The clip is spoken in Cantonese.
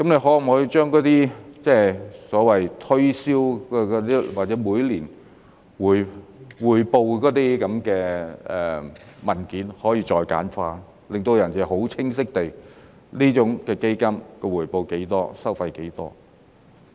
可否把那些所謂推銷或每年匯報的文件再簡化呢？令人可以清晰地知道，基金的回報是多少、收費是多少。